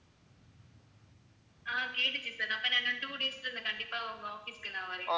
ஆஹ் கேட்டுச்சு sir அப்ப நான் இன்னும் two days ல கண்டிப்பா உங்க office க்கு நான் வர்றேன்.